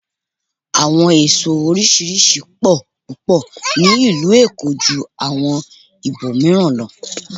Àwọn èso oríṣiríṣi pọ̀ púpọ̀ ní ìlú Èkó ju àwọn ibò mìíràn lọ.